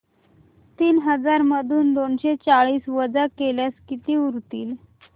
तीन हजार मधून दोनशे चाळीस वजा केल्यास किती उरतील